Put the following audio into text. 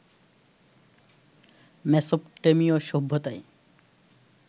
মেসোপটেমিয় সভ্যতায়